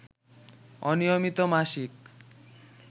অনিয়মিত মাসিক